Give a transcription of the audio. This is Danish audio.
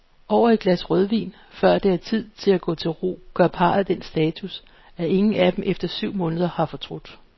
Over et glas rødvin, før det er tid at gå til ro, gør parret den status, at ingen af dem efter syv måneder har fortrudt.